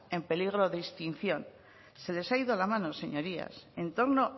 en peligro de extinción se les ha ido la mano señorías en torno